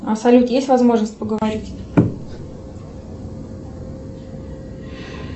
салют есть возможность поговорить